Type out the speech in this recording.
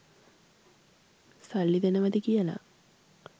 සල්ලි දෙනවද කියලා.